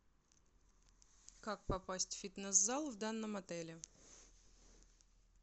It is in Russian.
как попасть в фитнес зал в данном отеле